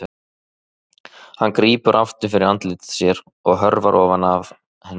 Hann grípur aftur fyrir andlit sér og hörfar ofan af henni.